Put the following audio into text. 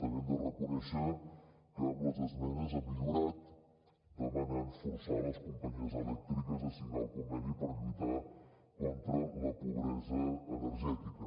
també hem de reconèixer que amb les esmenes ha millorat demanant forçar les companyies elèctriques a signar el conveni per lluitar contra la pobresa energètica